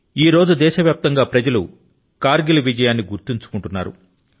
ఇవాళ దేశవ్యాప్తంగా ప్రజలు కర్ గిల్ విజయాన్ని గుర్తుకు తెచ్చుకొంటున్నారు